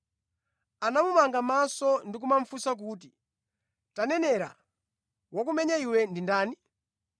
Anamumanga mʼmaso ndi kumufunsa kuti, “Tanenera! Wakumenya iwe ndi ndani?”